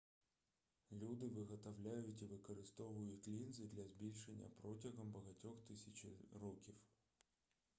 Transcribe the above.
люди виготовляють і використовують лінзи для збільшення протягом багатьох тисяч років